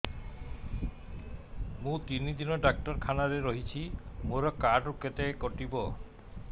ମୁଁ ତିନି ଦିନ ଡାକ୍ତର ଖାନାରେ ରହିଛି ମୋର କାର୍ଡ ରୁ କେତେ କଟିବ